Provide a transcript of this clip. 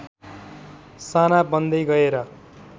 साना बन्दै गएर